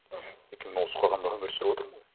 мхм өйткені мен осы қоғамда өмір сүріп отырмын ғой